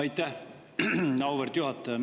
Aitäh, auväärt juhataja!